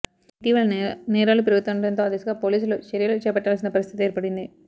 ఇటీవల నేరాలు పెరుగుతుండడంతో ఆ దిశగా పోలీసులు చర్యలు చేపట్టాల్సిన పరిస్థితి ఏర్పడింది